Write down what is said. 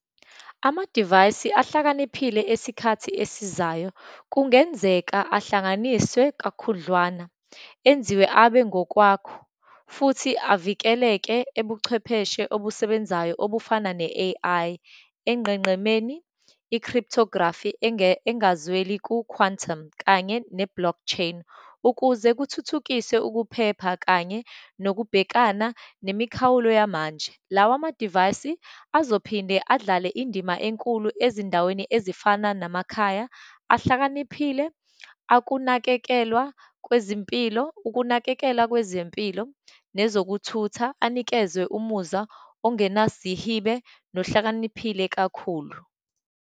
Amadivayisi ahlakaniphile esikhathi esizayo, kungenzeka ahlanganiswe kakhudlwana, enziwe abe ngokwakho, futhi avikeleke ebuchwepheshe obusebenzayo obufana ne-A_I, enqenqemeni, i-crytography engazweli ku-quantum kanye ne-blockchain, ukuze kuthuthukiswe ukuphepha kanye nokubhekana nemikhawulo yamanje. Lawa namadivayisi azophinde adlale indima enkulu ezindaweni ezifana namakhaya ahlakaniphile, akunakekelwa kwezimpilo, ukunakekelwa kwezempilo, nezokuthutha, anikezwe umuzwa ongenazihibe nohlakaniphile kakhulu.